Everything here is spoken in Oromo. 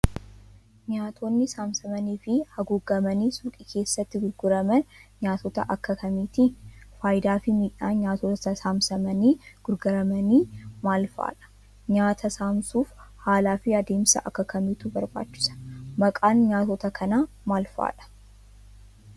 Nyaatonni saamsamanii fi haguugamanii suuqii keessatti gurguraman nyaatota akka kamiiti? Faayidaa fi miidhaan nyaatota saamsamanii gurguramanii maal faa dha? Nyaata saamsuuf haalaa fi adeemsa akka kamiitu barbaachisa? Maqaan nyaatota kanaa maal faadha?